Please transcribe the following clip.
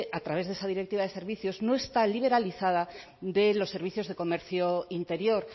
a través de esa directiva de servicio no está liberalizada de los servicios de comercio interior